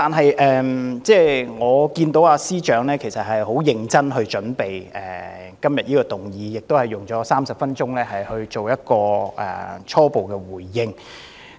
然而，我看到司長很認真地為這項議案做好準備，亦用了30分鐘作出初步回應。